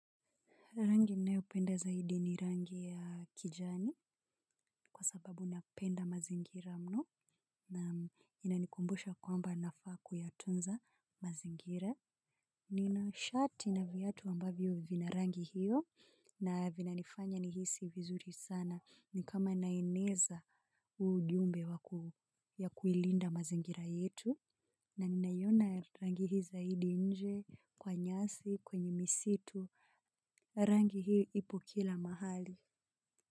Rangi nayopenda zaidi ni rangi ya kijani kwa sababu napenda mazingira mno na inanikumbusha kwamba nafaa kuyatunza mazingira. Nina shati na viyatu ambavyo vina rangi hiyo na vinanifanya nihisi vizuri sana ni kama naeneza ujumbe ya kuilinda mazingira yetu. Na ninaiona rangi hii zaidi nje kwa nyasi, kwenye misitu, rangi hii ipo kila mahali.